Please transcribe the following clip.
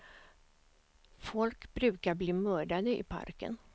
Folk brukar bli mördade i parken.